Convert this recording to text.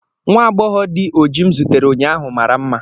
nwa agbọghọ dị oji m zutere ụnyaahụ mara mma